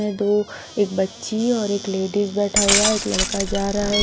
यहां दो एक बच्ची और एक लेडिस बैठा हुआ है एक लड़का जा रहा है।